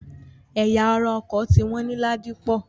Ẹ̀ya ara ọkọ̀ ti wọ́n ní Ládípọ̀.